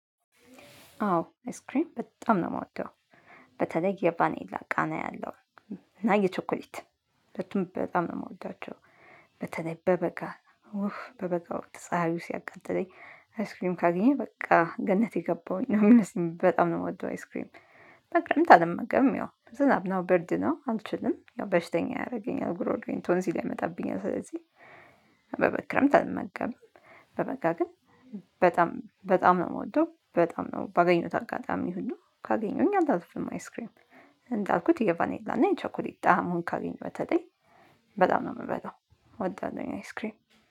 አዎ አይስክሬም በጣም ነው የምወደው። በተለይ የባኔላ ቃና ያለው እና የቾኮሌት ሁለቱን በጣም ነው የምወዳቸው። በተለይ በበጋ- በበጋ ወቅት ፀሀዩ ሲያቃጥለኝ አይስክሬም ካገኘሁ ገነት የገባሁ ነው የሚመስለኝ። በጣም ነው የምወደው አይስክሬም። በክረምት አልመገብም ያው ዝናብ ነው ብርድ ነው አልችልም ያው በሽተኛ ያረገኛል ጉሮሮዬን ቶንሲን ያመጣብኛል። ስለዚህ- በክረምት አልመገብም። በበጋ ግን በጣም በጣም ነው የምወደው። በጣም ነው ባገኘሁት አጋጣሚ ሁሉ ካገኘሁኝ አንተ አልኩትም አይስክሬም። እንዳልኩት የቫኔላ እና የቸኮሌታ ጣሙን ካገኘሁት በተለይ በጣም ነው የምበላው እወዳለሁኝ አይስክሪም።